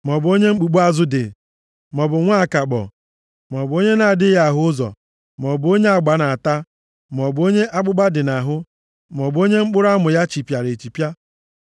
maọbụ onye mkpumkpu azụ dị, maọbụ nwa akakpọ, maọbụ onye na-adịghị ahụzi ụzọ, maọbụ onye agba na-ata, maọbụ onye akpụkpa dị nʼahụ, maọbụ onye mkpụrụ amụ ya chipịara echipịa.